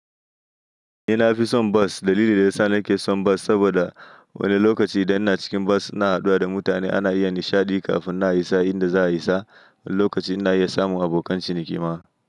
Ni na fi son bus. Dalili da ya sa na ke son bus saboda wani lokaci idan ina cikin bus ina haɗuwa da mutane ana iya nishaɗi kafin na isa inda za a isa. Wani lokaci ina iya samun abokan ciniki ma.